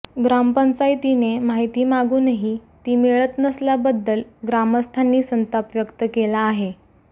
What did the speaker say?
ग्रामपंचायतीने माहिती मागूनही ती मिळत नसल्याबद्दल ग्रामस्थांनी संताप व्यक्त केला आहे